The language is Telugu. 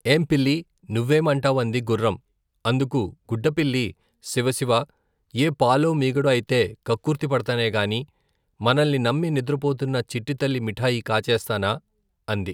ఏం పిల్లి నువ్వేమంటావ్ అంది గుఱ్ఱం అందుకు గుడ్డపిల్లి శివ శివ ఏ పాలో, మీగడో ఐతే కక్కుర్తి పడతానే గాని మనల్ని నమ్మి నిద్రపోతున్న చిట్టితల్లి మిఠాయి కాజేస్తానా అంది.